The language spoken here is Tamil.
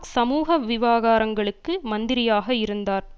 சமூக விவாகாரங்களுக்கு மந்திரியாக இருந்தார்